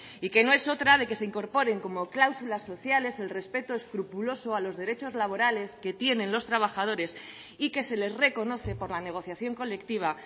y que no es otra de que se incorporen como cláusulas sociales el respeto escrupuloso a los derechos laborales que tienen los trabajadores y que se les reconoce por la negociación colectiva